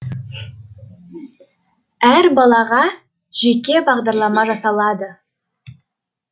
әр балаға жеке бағдарлама жасалады